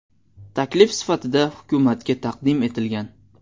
Taklif sifatida hukumatga taqdim etilgan.